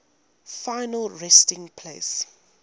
final resting place